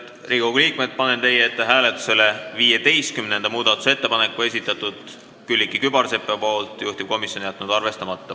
Head Riigikogu liikmed, panen hääletusele 15. muudatusettepaneku, mille on esitanud Külliki Kübarsepp, juhtivkomisjon jätnud arvestamata.